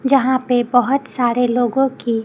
यहां पे बहुत सारे लोगों की--